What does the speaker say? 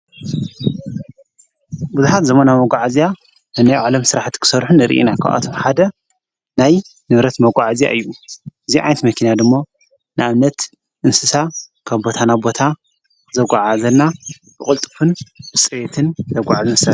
ብዙኃት ዘመናዊ መጕዕእዚያ ነነዮ ዓለም ሥራሕቲ ክሠርኁን እርኢና። ኻብኣትም ሓደ ናይ ንብረት መጕዓእዚ እዩ ።እዚ ዓይኔት መኪና ድሞ ንኣብነት እንስሳ ካብቦታና ቦታ ዘጐዓ እዘና ብቖልጥፍን ብፅሬትትን ዘጕዕዝ እዩ።